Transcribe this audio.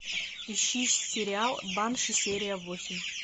ищи сериал банши серия восемь